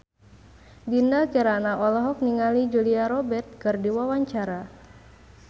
Dinda Kirana olohok ningali Julia Robert keur diwawancara